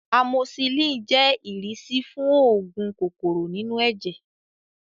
Amosisilin jẹ́ ìrísí fún oògùn kòkòrò inú ẹ̀jẹ̀